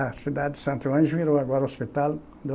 A cidade de Santo Ângelo virou agora Hospital